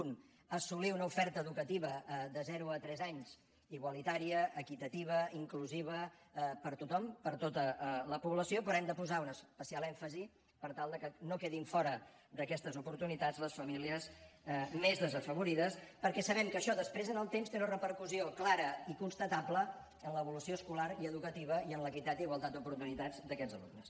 un assolir una oferta educativa de zero a tres anys igualitària equitativa inclusiva per a tothom per a tota la població però hem de posar un especial èmfasi per tal de que no quedin fora d’aquestes oportunitats les famílies més desafavorides perquè sabem que això després en el temps té una repercussió clara i constatable en l’evolució escolar i educativa i en l’equitat i igualtat d’oportunitats d’aquests alumnes